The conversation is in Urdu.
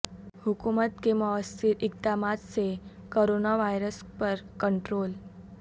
حکومت کے موثر اقدمات سے کورونا وائرس پر کنٹرول